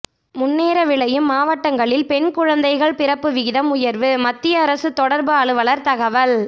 முன்னேற விளையும் மாவட்டங்களில் பெண் குழந்தைகள் பிறப்பு விகிதம் உயர்வு மத்திய அரசு தொடர்பு அலுவலர் தகவல்